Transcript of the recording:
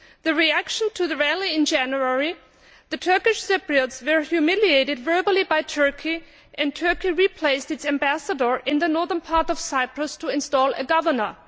In reaction to the rally in January, the Turkish Cypriots were humiliated verbally by Turkey, and Turkey replaced its ambassador in the northern part of Cyprus in order to install a governor.